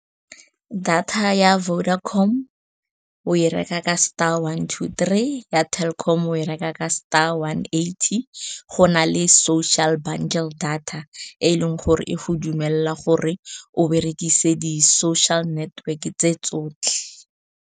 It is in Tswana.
Data ya Vodacom o e reka ka star one two three, ya Telkom o e reka ka star one eighty. Go na le social bundle data e leng gore e go dumelela gore o berekise di-social network-e tse tsotlhe